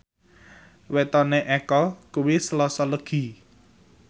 wetone Eko kuwi Selasa Legi